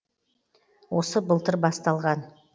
осы былтыр басталған